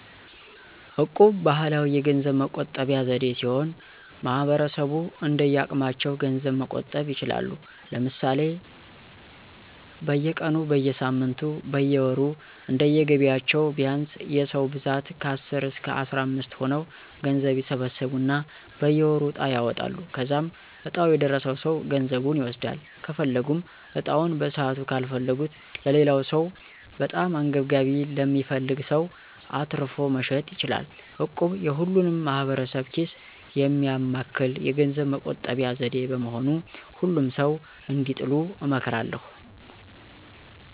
እቁብ ባህላዊ የገንዘብ መቆጠቢያ ዘዴ ሲሆን ማህበረሰቡ እንደየአቅማቸው ገንዘብ መቆጠብ ይችላሉ። ለምሳሌ፦ በየቀኑ, በየሳምንቱ ,በየወሩ እንደየገቢያቸው ቢያንስ የ ሰዉ ብዛት ከአስር እስከ አስራምስት ሆነው ገንዘብ ይሰበስቡና በየወሩ ዕጣ ያወጣሉ. ከዛም ዕጣው የደረሰው ሰው ገንዘቡን ይወስዳል .ከፈለጉም ዕጣውን በሰዓቱ ካልፈለጉት ለሌላው ሰው(በጣም አንገብጋቢ ለሚፈልግ ሰው)አትርፎ መሸጥ ይችላሉ። እቁብ የሁሉንም ማህበረሰብ ኪስ የሚያማክል የገንዘብ መቆጠቢያ ዘዴ በመሆኑ ሁሉም ሰዉ እንዲጥሉ እመክራለሁ።